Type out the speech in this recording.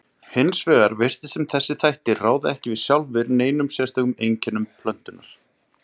Hins vegar virtist sem þessir þættir ráði ekki sjálfir neinum sérstökum einkennum plöntunnar.